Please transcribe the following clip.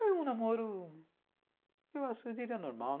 Foi um namoro, eu acho, eu diria normal.